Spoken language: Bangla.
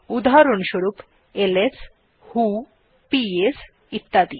উদাহরণস্বরূপ এলএস ভো পিএস ইত্যাদি